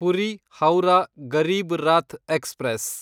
Puri Howrah Garib Rath express